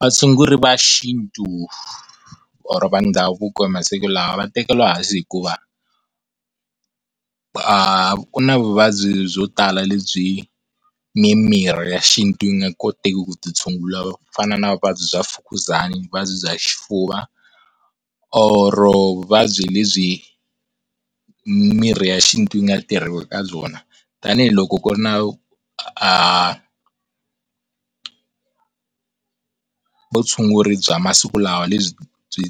Vatshunguri va xintu or va ndhavuko masiku lawa va tekeriwa hansi hikuva aah, ku na vuvabyi byo tala lebyi mimirhi ya xintu yi nga koteki ku byi tshungula kufana na vuvabyi bya Mfukuzana vuvabyi bya Xifuva or-o vuvabyi lebyi mirhi ya xintu yi nga tirhiwa eka byona. Tanihiloko ku ri na aah vutshunguri bya masiku lawa, lebyi byi